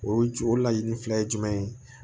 O ju o laɲini filɛ jumɛn ye